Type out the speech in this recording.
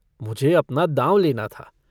मुझे अपना दाँव लेना था।